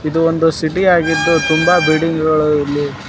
ಇದು ಒಂದು ಸಿಟಿ ಯಾಗಿದ್ದು ತುಂಬಾ ಬಿಲ್ಡಿಂಗ್ ಗಳು ಇಲ್ಲಿ --